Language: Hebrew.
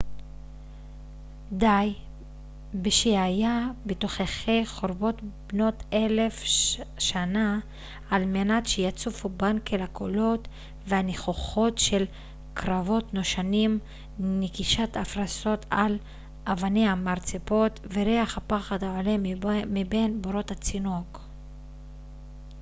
די בשהיה בתוככי חורבות בנות אלף שנה על מנת שיצופו בנקל הקולות והניחוחות של קרבות נושנים נקישת הפרסות על אבני המרצפות וריח הפחד העולה מבין בורות הצינוק